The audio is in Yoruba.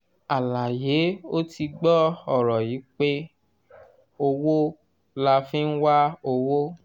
àlàyé ó ti gbọ́ ọ̀rọ̀ yìí pé " owó la fi ń wá owó".